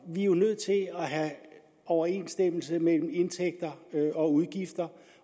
er jo nødt til at have overensstemmelse mellem indtægter og udgifter